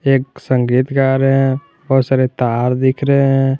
एक संगीत गा रहे हैं बहुत सारे तार दिख रहे हैं।